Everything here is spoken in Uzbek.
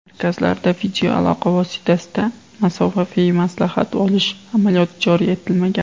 Markazlarda videoaloqa vositasida masofaviy maslahat olish amaliyoti joriy etilmagan.